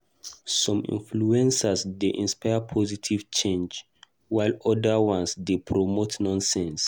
Some influencers dey inspire positive change, while oda ones dey promote nonsense.